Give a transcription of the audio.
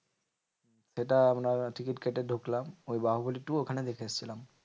সেটা আপনারা টিকিট কেটে ঢুকলাম, ওই বাহুবলি টু ওখানে দেখে এসেছিলাম।